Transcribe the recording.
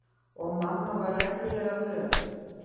Og mamma var reglulega glöð.